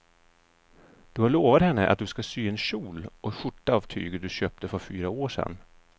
Du har lovat henne att du ska sy en kjol och skjorta av tyget du köpte för fyra år sedan.